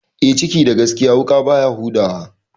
E, ciki da gaskiya wuƙa baya huda wa.